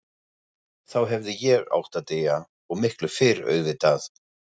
Þá hefði ég átt að deyja, og miklu fyrr auðvitað.